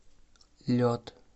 лед